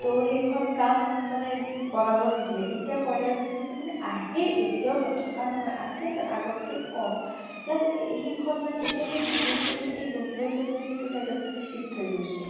তʼ সেইখন কাম মানে বনাব নিদিলে । এতিয়া কয়লা ৰ business মানে আহে । এতিয়া ও নথকা নহয়, আছে but আগতকে কʼম । plus সেইখন মান, এতিয়া সেই business তো এই দুধনৈ চুধনৈ সেইতো side ত মানে shift হৈ গৈছে ।